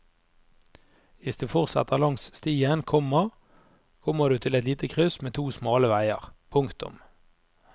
Hvis du fortsetter langs stien, komma kommer du til et lite kryss med to smale veier. punktum